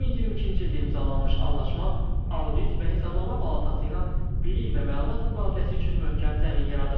2022-ci ildə imzalanmış anlaşma, Audit və Hesablama Palatası ilə bilik və məlumat mübadiləsi üçün möhkəm zəmin yaradıb.